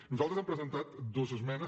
nosaltres hem presentat dues esmenes